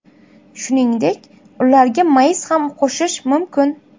Shuningdek, ularga mayiz ham qo‘shish mumkin.